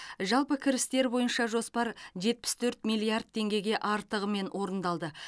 жалпы кірістер бойынша жоспар жетпіс төрт миллиард теңгеге артығымен орындалды